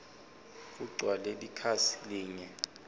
kugcwale likhasi linye